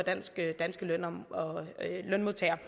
danske lønmodtagere